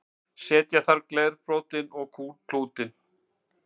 setja þarf glerbrotin og klútinn